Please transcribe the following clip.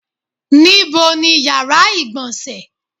Níbo ni yàrá ìgbọ̀nsẹ̀?